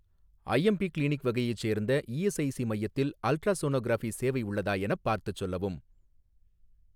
IMP clinic வகையைச் சேர்ந்த ESIC மையத்தில் அல்ட்ராசோனோகிராஃபி சேவை உள்ளதா எனப் பார்த்துச் சொல்லவும்.